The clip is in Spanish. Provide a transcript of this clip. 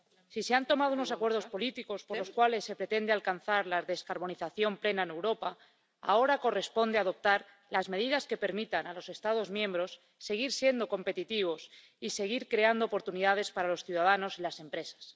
Si se han alcanzado unos acuerdos políticos por los cuales se pretende alcanzar la descarbonización plena en Europa, ahora corresponde adoptar las medidas que permitan a los Estados miembros seguir siendo competitivos y seguir creando oportunidades para los ciudadanos y las empresas.